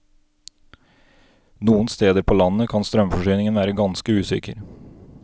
Noen steder på landet kan strømforsyningen være ganske usikker.